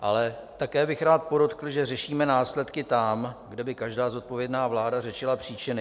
Ale také bych rád podotkl, že řešíme následky tam, kde by každá zodpovědná vláda řešila příčiny.